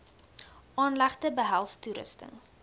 aanlegte behels toerusting